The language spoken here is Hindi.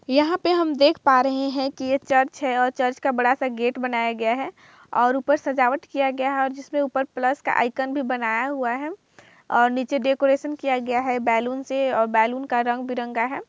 यहां पे हम देख पा रहे हैं कि ये चर्च है और चर्च का बड़ा सा गेट बनाया गया है और ऊपर सजावट किया गया है जिसमें ऊपर प्लस का आइकन भी बनाया हुआ है और नीचे डेकोरेट किया गया है बैलून से और बैलून का रंग बिरंगा है।